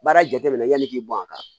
Baara jateminɛ yanni i k'i bɔn a kan